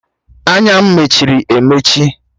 Anya m mechiri emechi